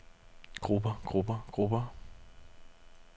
grupper grupper grupper